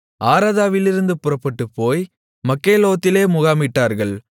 ஆரதாவிலிருந்து புறப்பட்டுப்போய் மக்கெலோத்திலே முகாமிட்டார்கள்